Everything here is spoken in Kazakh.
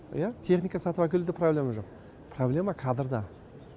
иә техника сатып әкелуде проблема жоқ проблема кадрда